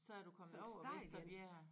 Så er du kommet over Vesterbjerg